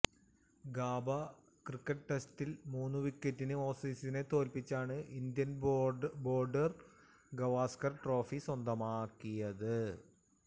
GABA cricket ടെസ്റ്റില് മൂന്നു വിക്കറ്റിന് ഓസീസിനെ തോല്പ്പിച്ചാണ് ഇന്ത്യ ബോര്ഡര് ഗവാസ്കര് ട്രോഫി സ്വന്തമാക്കിയത്